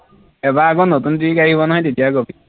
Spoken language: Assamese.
এইবাৰ আকৌ নতুন যি গাড়ী বনায় তেতিয়া কবি